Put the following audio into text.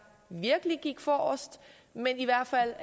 virkelig gik forrest men i hvert fald